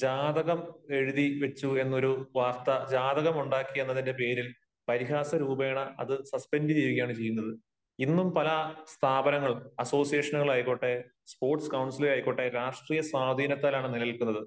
ജാതകം എഴുതി വച്ചു എന്നൊരു വാർത്ത, ജാതകമുണ്ടാക്കി എന്നതിന്റെ പേരിൽ പരിഹാസ രൂപേണ അത് സസ്പെൻഡ് ചെയ്യുകയാണ് ചെയ്യുന്നത്. ഇന്നും പല സ്ഥാപനങ്ങളും അസോസിയേഷനുകൾ ആയിക്കോട്ടെ, സ്പോർട്സ് കൌൺസിലുകൾ ആയിക്കോട്ടെ, രാഷ്ട്രീയ സ്വാധീനത്താലാണ് നിലനില്ക്കുന്നത്.